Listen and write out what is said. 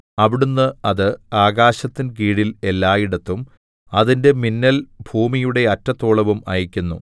അവിടുന്ന് അത് ആകാശത്തിൻ കീഴിൽ എല്ലായിടത്തും അതിന്റെ മിന്നൽ ഭൂമിയുടെ അറ്റത്തോളവും അയയ്ക്കുന്നു